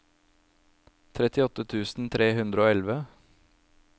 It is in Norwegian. trettiåtte tusen tre hundre og elleve